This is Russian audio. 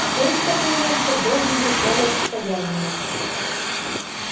стоить такой монстр должен был целое состояние